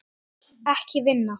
Ekki vinna.